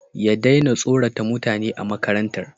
ya daina tsorata mutane a makarantar